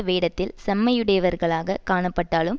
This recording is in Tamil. வேடத்தில் செம்மையுடையவர்களாகக் காணப்பட்டாலும்